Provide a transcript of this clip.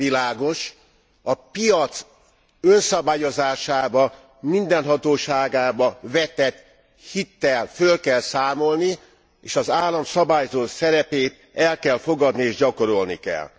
Világos, hogy a piac önszabályozásába, mindenhatóságába vetett hittel föl kell számolni és az állam szabályzó szerepét el kell fogadni és gyakorolni kell.